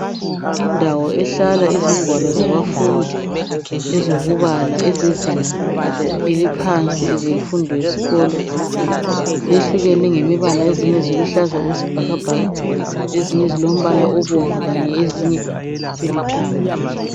Indawo ehlala izingwalo zabafundi ezokubala ezezinga eliphansi ezemfundo yesikolo. Zehlukene ngemibala ezinye ziluhlaza okwesibhakabhaka. Ezinye zilombala obomvu kanye ezinye zilithanga.